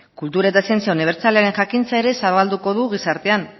kultur eta zientzia unibertsalaren jakintza ere zabalduko du gizartearen